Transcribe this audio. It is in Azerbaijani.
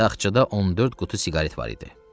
Taxçada 14 qutu siqaret var idi.